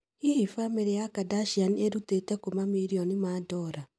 Hihi famĩrĩ ya Kardashian ĩrutĩte kũ mamirioni ma dora?